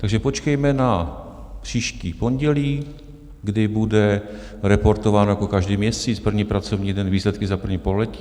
Takže počkejme na příští pondělí, kdy bude reportován jako každý měsíc, první pracovní den, výsledky za první pololetí.